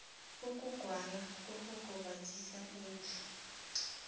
ukugwala kughakazisa indlu